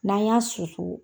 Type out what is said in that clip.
N'a y'a susu